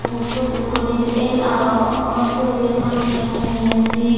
uh suot ukko he el aro olottey uri tangeye mujungedi.